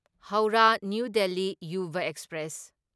Howrah New Delhi Yuva express